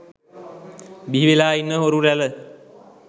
බිහිවෙලා ඉන්න හොරු රැල